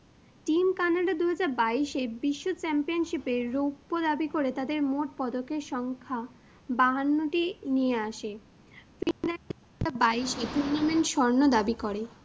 teamCanada দু হাজার বাইশে বিশ্ব championship এ রৌপ্য দাবি করে তাদের মোট পদকের সংখ্যা বাহান্নটি নিয়ে আসে বাইশে স্বর্ণ দাবি করে।